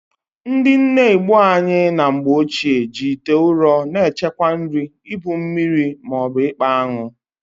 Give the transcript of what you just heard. Ndị nne Igbo anyị na mgbochie, ji ite ụrọ na-echekwa nri, ibu mmiri, ma ọbụ ịkpa aṅụ.